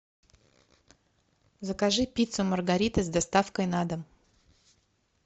закажи пиццу маргарита с доставкой на дом